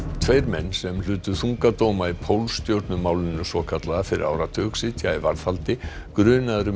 tveir menn sem hlutu þunga dóma í svokallaða fyrir áratug sitja í varðhaldi grunaðir um